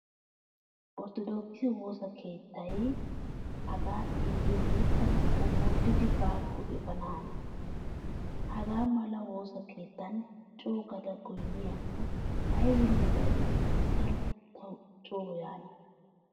Orttodookise woosa keettay hagaa xeellyoode tana omooddidi baakko efaana hanees. Hagaa mala woosa keettan coogada goynniyaakko aybinne baynnasan saroy tawu coo yaana.